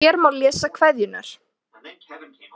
Hér má lesa kveðjurnar